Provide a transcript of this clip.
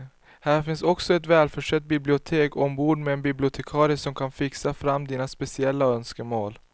Här finns också ett välförsett bibliotek ombord med en bibliotekarie som kan fixa fram dina speciella önskemål.